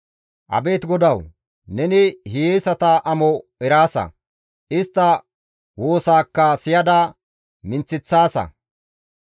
Abeet GODAWU! Neni hiyeesata amo eraasa; istta woosaakka siyada minththeththaasa.